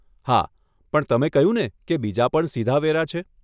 હા, પણ તમે કહ્યુંને કે બીજા પણ સીધા વેરા છે?